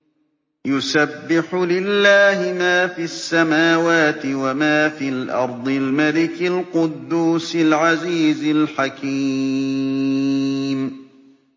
يُسَبِّحُ لِلَّهِ مَا فِي السَّمَاوَاتِ وَمَا فِي الْأَرْضِ الْمَلِكِ الْقُدُّوسِ الْعَزِيزِ الْحَكِيمِ